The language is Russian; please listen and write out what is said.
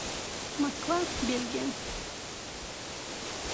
москва бельгия